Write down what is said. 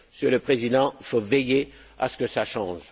Monsieur le Président, il faut veiller à ce que cela change.